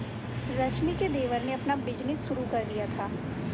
रश्मि के देवर ने अपना बिजनेस शुरू कर दिया था